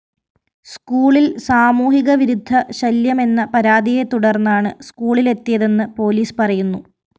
സ്‌കൂളില്‍ സാമൂഹികവിരുദ്ധശല്യമെന്ന പരാതിയെ തുടര്‍ന്നാണ് സ്‌കൂളിലെത്തിയതെന്ന് പോലീസ് പറയുന്നു